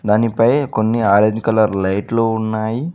అని పై కొన్ని ఆరెంజ్ కలర్ లైట్లు ఉన్నాయి.